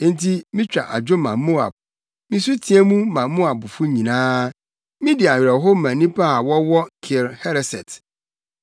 Enti mitwa adwo ma Moab, misu teɛ mu ma Moabfo nyinaa, midi awerɛhow ma nnipa a wɔwɔ Kir Hereset.